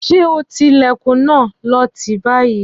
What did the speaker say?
Ṣé ọtí Ìlẹ̀kùn náà, lọọ tí báyìí